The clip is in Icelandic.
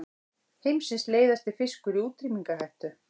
Heimsins leiðasti fiskur í útrýmingarhættu